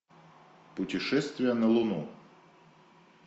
путешествие на луну